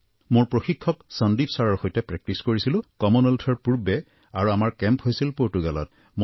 মোৰ প্ৰশিক্ষক সন্দীপ ছাৰৰ সৈতে প্ৰেকটিছ কৰিছিলো কমনৱেলথ গেমছৰ পূৰ্বে আৰু আমাৰ কেম্প হৈছিল পৰ্তুগালত